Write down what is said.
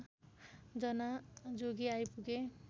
जना जोगी आइपुगे